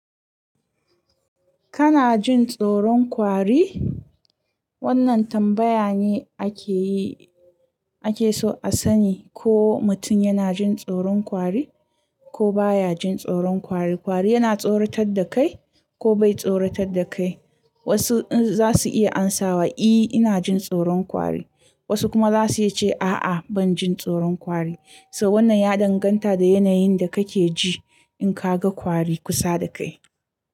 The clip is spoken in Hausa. Kana jin tsoron kwari? Wannan tambaya ne ake yi, ake so a sani ko mutum yana jin tsoron kwari ko baya jin tsoron kwari. Kwari yana tsoratar da kai ko bai tsoratar da kai. Wasu za su iya amsawa, "I, ina jin tsoron kwari." Wasu kuma za su iya ce, "A'a, ban jin tsoron kwari." So wannan ya danganta da yanayin da kake ji in ka ga kwari kusa da kai.